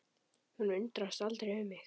Hún undrast aldrei um mig.